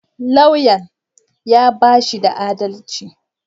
Lauyan ya bashi da adalci